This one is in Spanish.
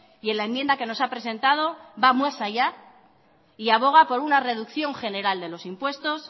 y en la enmienda que nos ha presentado va más allá y aboga por una reducción general de los impuestos